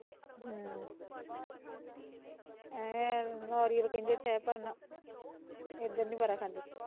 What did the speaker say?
ਹਮ ਹਮ ਏਹ ਨਾਰੀਅਲ ਕਹਿੰਦੇ ਤਾਂ ਹੈ ਪਰ ਨਾ ਏਧਰ ਨੀ ਬਾਰਾ ਖਾਂਦੇ